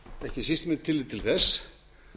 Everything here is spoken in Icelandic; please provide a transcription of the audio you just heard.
ekki síst með tilliti til þess